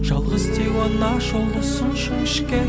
жалғыз тек жол ұзын жіңішке